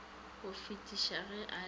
go fetisa ge a le